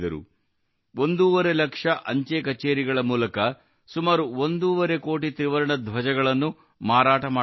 ಒಂದೂವರೆ ಲಕ್ಷ ಅಂಚೆ ಕಚೇರಿಗಳ ಮೂಲಕ ಸುಮಾರು ಒಂದೂವರೆ ಕೋಟಿ ತ್ರಿವರ್ಣ ಧ್ವಜಗಳನ್ನು ಮಾರಾಟ ಮಾಡಲಾಯಿತು